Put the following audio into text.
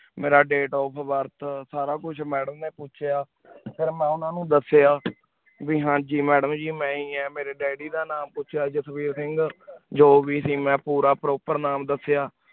ਮੇਰਾ date of birth ਸਾਰਾ ਕੁਛ madam ਨੀ ਪੋਚ੍ਯਾ ਫਿਰ ਮੈਂ ਓਨਾ ਨੂ ਦਸ੍ਯ ਬੀ ਹਾਂਜੀ madam ਗ ਮੈਂ ਹੀ ਆ ਮੇਰੀ daydi ਦਾ ਨਾਮ ਪੋਚ੍ਯਾ ਜਸਵੀਰ ਸਿੰਗ ਜੋ ਵੀ ਸੇ ਮੈਂ ਪੋਰ proper ਨਾਮ ਦਸ੍ਯ